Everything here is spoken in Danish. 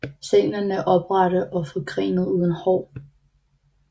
Stænglerne er oprette og forgrenede uden hår